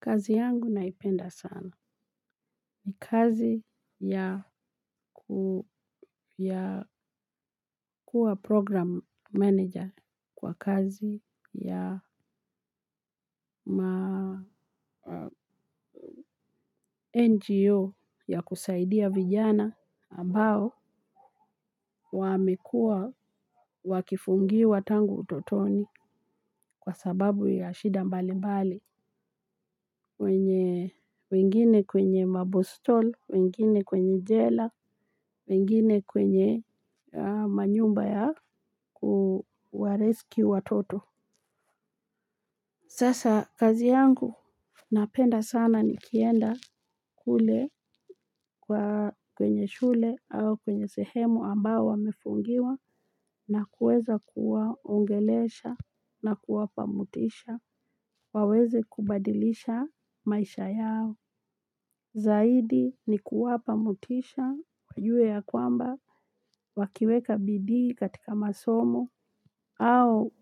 Kazi yangu naipenda sana. Ni kazi ya kuwa program manager kwa kazi ya ma NGO ya kusaidia vijana ambao wamekuwa wakifungiwa tangu utotoni kwa sababu ya shida mbali mbali. Wenye wengine kwenye mabostol, wengine kwenye jela, wengine kwenye manyumba ya kuwarescue watoto. Sasa kazi yangu napenda sana nikienda kule kwenye shule au kwenye sehemu ambao wamefungiwa, na kuweza kuwaongelesha na kuwapa motisha waweze kubadilisha maisha yao. Zaidi ni kuwapa motisha, wajue ya kwamba, wakiweka bidii katika masomo, au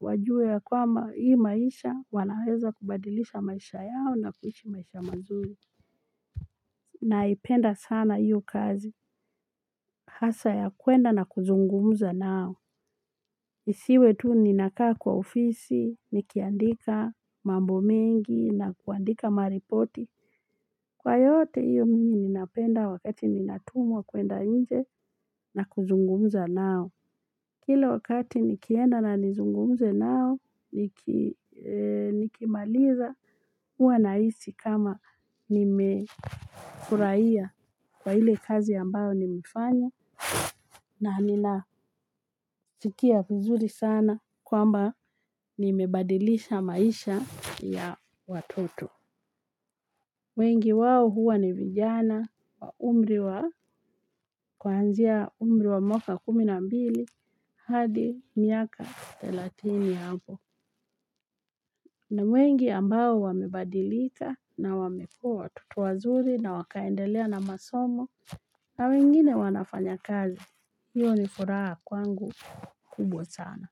wajue ya kwamba hii maisha wanaweza kubadilisha maisha yao na kuishi maisha mazuri. Naipenda sana hiyo kazi. Hasa ya kuenda na kuzungumza nao. Nisiwe tu ninakaa kwa ofisi, nikiandika mambo mengi na kuandika maripoti. Kwa yote hiyo mingi ninapenda wakati ninatumwa kuenda nje, na kuzungumza nao. Kila wakati nikienda na nizungumze nao, nikimaliza huwa nahisi kama nimefurahia kwa ile kazi ambayo nimefanya. Na ninasikia vizuri sana kwamba nimebadilisha maisha ya watoto. Wengi wao huwa ni vijana wa umri wa kuanzia umri wa mwaka kumi na mbili hadi miaka thelatini hapo. Ni mwengi ambao wamebadilika na wamekuwa watoto wazuri na wakaendelea na masomo. Na wengine wanafanya kazi. Hiyo ni furaha kwangu kubwa sana.